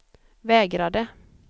vägrade